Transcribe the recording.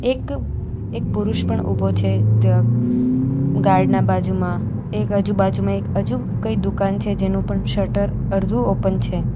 એક એક પુરુષ પણ ઉભો છે ત્યાં ગાર્ડ ના બાજુમાં એક આજુબાજુમાં એક અજુ કંઈ દુકાન છે જેનું પણ શટર અરધું ઓપન છે.